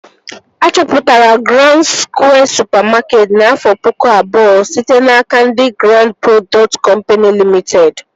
A chọpụtara Grand Skwịe supamakeetị n'afọ pụkụ abụọ site n'aka ndị Grand prodọkt kọmpini Limiteed